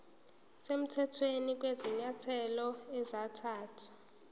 semthethweni kwezinyathelo ezathathwa